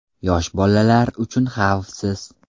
Yosh bolalar uchun xavfsiz.